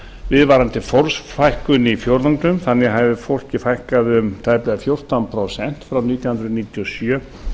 viðvarandi fólksfækkun í fjórðungnum þannig hafði fólki fækkað um tæplega fjórtán prósent frá nítján hundruð níutíu og sjö